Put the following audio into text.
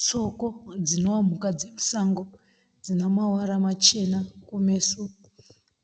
Tsoko dzinova mhuka dzemusango dzina mavara machena kumeso